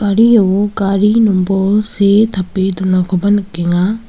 gari nombol see tape donakoba nikenga.